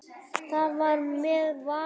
Það var með Val.